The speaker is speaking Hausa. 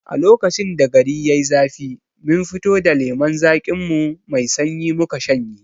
A lokacin da gari yai zafi mun fito da lemon zaƙin mu mai sanyi muka shanye